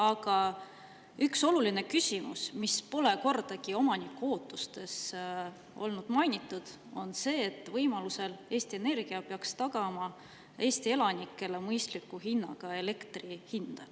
Aga üks oluline küsimus, mida pole kordagi omaniku ootustes mainitud, on see, et võimalusel Eesti Energia peaks tagama Eesti elanikele mõistliku hinnaga elektri.